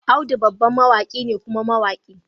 Audu babban mawaki ne kuma mawaki